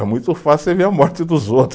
É muito fácil você ver a morte dos outros.